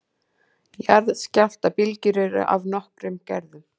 Jarðskjálftabylgjur eru af nokkrum gerðum.